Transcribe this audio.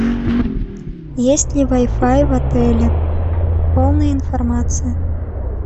есть ли вай фай в отеле полная информация